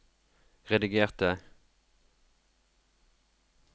redigerte